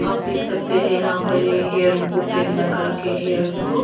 आप देख सकते हैं यहां पर ये हेयर उनको पेन लगाके हेयर्स को--